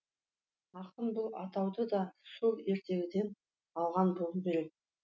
ақын бұл атауды да сол ертегіден алған болуы керек